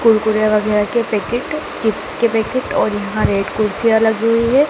कुरकुरे वगैरा के packet chips के पैकेट और यहां रेड कुर्सिया लगी हुई है।